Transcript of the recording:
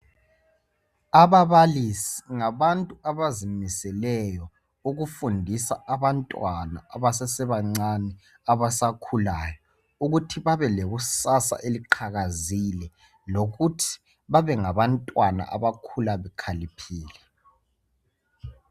Ababalisi ngabantu abazimiseleyo ukufundisa abantwana abasesebancane abasakhulayo ukuthi babe lekusasa eliqakazile, lokuthi babengabantwana abakhula bekhaliphile.